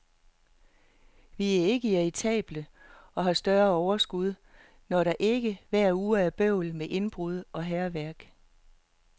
Vi er ikke irritable og har større overskud, når der ikke hver uge er bøvl med indbrud og hærværk.